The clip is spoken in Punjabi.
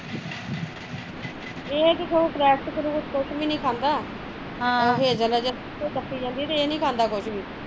ਏਹ ਤੇ cracks ਕਰੁਕਸ ਕੁਸ਼ ਵੀ ਨੀ ਖਾਂਦਾ ਹਮ ਹਜੇ ਡਫੀ ਜਾਂਦੀ ਆਏ ਏਹ ਨੀ ਖਾਂਦਾ ਕੁਜ ਵੀ